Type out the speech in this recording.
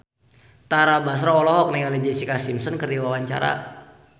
Tara Basro olohok ningali Jessica Simpson keur diwawancara